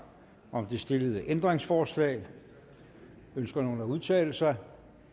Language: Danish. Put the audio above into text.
om det stillede ændringsforslag ønsker nogen at udtale sig